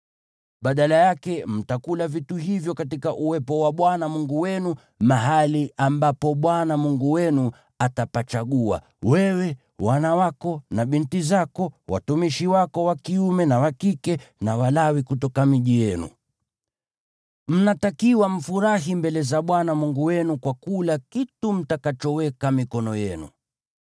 Badala yake, mtakula vitu hivyo katika uwepo wa Bwana Mungu wenu mahali ambapo Bwana Mungu wenu atapachagua: wewe, wana wako na binti zako, watumishi wako wa kiume na wa kike, na Walawi kutoka miji yenu. Mnatakiwa mfurahi mbele za Bwana Mungu wenu kwa kula kitu mtakachoweka mikono yenu.